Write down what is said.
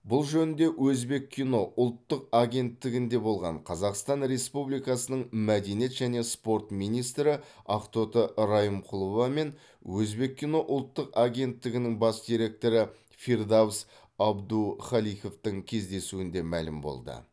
бұл жөнінде өзбеккино ұлттық агенттігінде болған қазақстан республикасының мәдениет және спорт министрі ақтоты райымқұлова мен өзбеккино ұлттық агенттігінің бас директоры фирдавс абдухаликовтың кездесуінде мәлім болды